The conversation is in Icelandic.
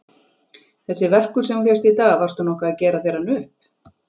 Þessi verkur sem þú fékkst í dag. varstu nokkuð að gera þér hann upp?